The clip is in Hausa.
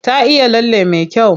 Ta iya lalle me kyau.